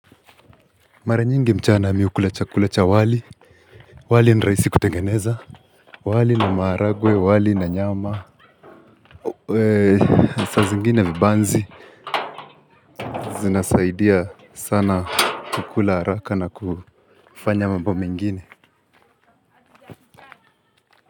Mare nyingi mchana mi hukula chakula cha wali, wali ni rahisi kutengeneza, wali na maharagwe, wali na nyama, saa zingine vibanzi, zinasaidia sana kula haraka na kufanya mambo mengine.